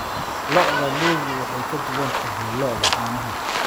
Lo'da lo'du way ka duwan tahay lo'da caanaha.